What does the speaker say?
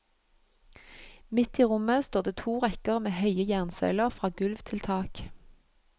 Midt i rommet står det to rekker med høye jernsøyler fra gulv til tak.